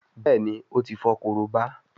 Béèni o tí fo Korobá.